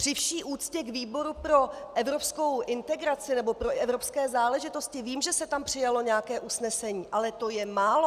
Při vší úctě k výboru pro evropskou integraci, nebo pro evropské záležitosti - vím, že se tam přijalo nějaké usnesení, ale to je málo!